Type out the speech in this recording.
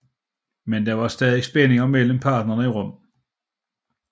Men der var stadig spændinger mellem parterne i Rom